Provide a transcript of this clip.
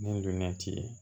Ni dunan ti ye